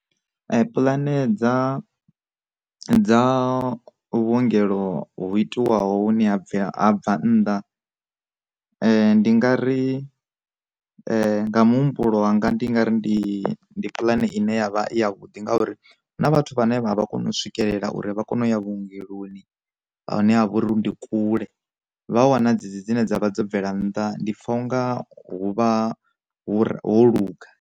Pulane dza dza vhuongelo hu itiwaho ni a bva bva nnḓa, ndi nga ri nga muhumbulo wanga ndi nga ri ndi ndi pulane ine yavha ya vhuḓi ngauri huna vhathu vhane vha vha kone u swikelela uri vha kone u ya vhuongeloni vha hune ha vha uri ndi kule vha wana dzi dzi dzine dza vha dzo bvela nnḓa ndi pfa unga huvha ho luga.